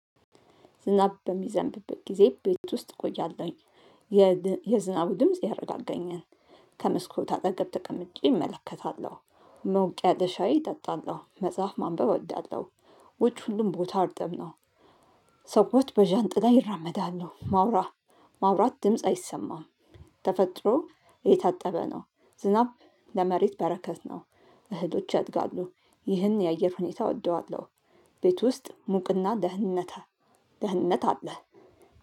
ዝናብ በሚዘንብበት ጊዜ ቤት ውስጥ እቆያለሁኝ። የዝናቡ ድምጽ ያረጋጋጋኛል። ከመስኮት አጠገብ ተቀምጬ እመለከታለሁ። ሞቅ ያለ ሻይ እጠጣለሁ መጽሐፍ ማንበብ እወዳለሁ። ውጭ ሁሉም ቦታ እርጥብ ነው። ሰዎች በዣንጥላ ይራመዳሉ ማውራ ማውራት ድምጽ አይሰማም። ተፈጥሮ እየታጠበ ነው ዝናብ ለመሬት በረከት ነው። እህሎች ያድጋሉ ይህን የአየር ሁኔታ እወደዋለሁ። ቤት ውስጥ ሙቅና ደህንነት ደህንነት አለ።